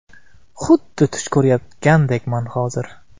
Xuddi tush ko‘rayotgandekman, hozir.